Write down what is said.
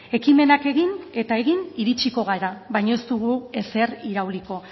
ekimenak egin eta egin iritsiko gara baina ez dugu ezer irauliko